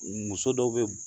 Muso dɔw bɛ